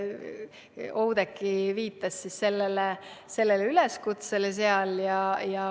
Oudekki viitas üleskutsele seal.